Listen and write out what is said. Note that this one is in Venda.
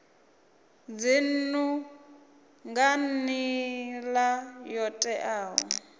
dzinnu nga nila yo teaho